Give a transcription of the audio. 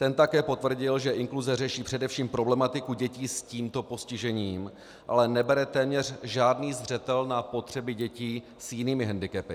Ten také potvrdil, že inkluze řeší především problematiku dětí s tímto postižením, ale nebere téměř žádný zřetel na potřeby dětí s jinými hendikepy.